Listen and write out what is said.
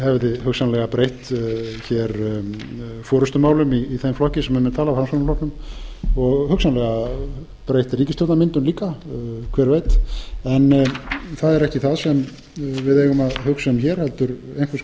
hefði hugsanlega breytt forustumálum í þeim flokki sem um er talað framsóknarflokknum og hugsanlega breytt ríkisstjórnarmyndun líka hver veit en það er ekki það sem við eigum að hugsa um hér heldur einhvers